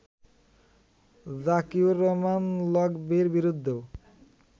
জাকিউর রহমান লকভির বিরুদ্ধেও